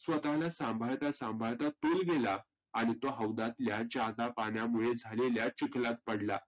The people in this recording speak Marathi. स्वतःला सांभाळता संभाळता तोल गेला. आणि तो हौदातल्या पाण्यामुले झालेल्या चिखलात पडला.